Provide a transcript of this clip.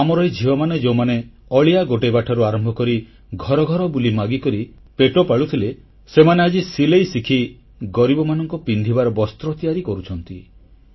ଆମର ଏଇ ଝିଅମାନେ ଯେଉଁମାନେ ଅଳିଆ ଗୋଟେଇବା ଠାରୁ ଆରମ୍ଭ କରି ଘର ଘର ବୁଲି ମାଗିକରି ପେଟ ପୋଷୁଥିଲେ ସେମାନେ ଆଜି ସିଲେଇ ଶିଖି ଗରିବମାନଙ୍କ ପାଇଁ ପିନ୍ଧିବାର ବସ୍ତ୍ର ତିଆରି କରୁଛନ୍ତି